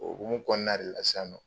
O hokumu kɔɔna de la sisan nɔ